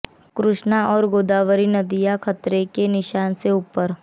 कृष्णा और गोदावरी नदियां खतरे के निशान से ऊपर